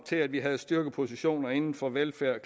til at vi havde styrkepositioner inden for velfærd